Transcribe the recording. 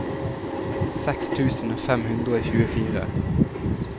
seks tusen fem hundre og tjuefire